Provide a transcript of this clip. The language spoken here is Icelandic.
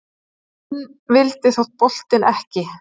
Inn vildi þó boltinn ekki